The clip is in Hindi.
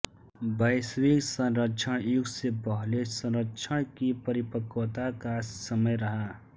वैश्विक संरक्षण युग से पहले संरक्षण की परिपक्वता का समय रहा है